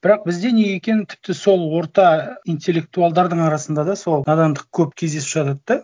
бірақ бізде неге екенің тіпті сол орта интеллектуалдардың арасында да сол надандық көп кездесіп жатады да